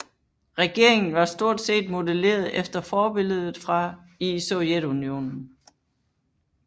Regeringen var stort set modelleret efter forbilledet i Sovjetunionen